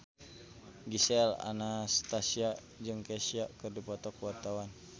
Gisel Anastasia jeung Kesha keur dipoto ku wartawan